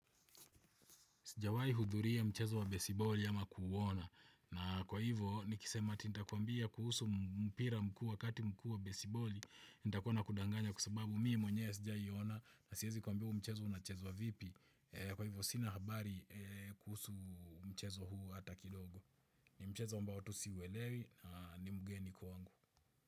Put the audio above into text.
Sijawai hudhuria mchezo wa besiboli ama kuona. Na kwa hivyo nikisema ati nitakwambia kuhusu mpira mkuu wakati mkuu wa besiboli. Nitakua nakudanganya kwasababu mi mwenyewe sijawai ona. Na siwezi kukuambia huu mchezo unachezwa vipi. Kwa hivyo sina habari eeh kuhusu mchezo huu hata kidogo. Ni mchezo mbao tu siwelewi na ni mgeni kwangu.